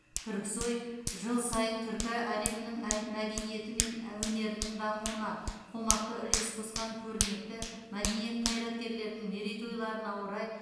түрксой жыл сайын түркі әлемінің мәдениеті мен өнерінің дамуына қомақты үлес қосқан көрнекті мәдениет қайраткерлерінің мерейтойларына орай